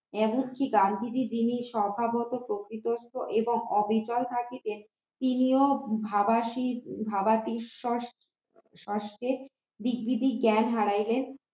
এমনকি গান্ধীজি যিনি সভা মতো প্রকৃতিস্ত এবং অবিকল থাকিতেন তিনিও ভাগাতি ভাবাতেশ্বর ষষ্ঠে দিক বিদিক জ্ঞান হারাইলেন